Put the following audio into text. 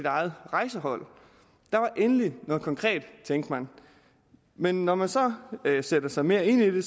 eget rejsehold der var endelig noget konkret tænkte man men når man så sætter sig mere ind i det